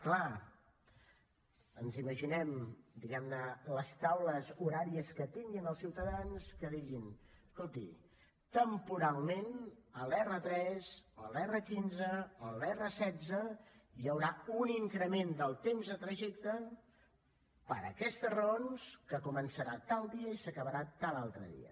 clar ens imaginem diguem ne les taules horàries que tinguin els ciutadans que diguin escolti temporalment a l’r3 o a l’r15 o a l’r16 hi haurà un increment del temps de trajecte per aquestes raons que començarà tal dia i s’acabarà tal altre dia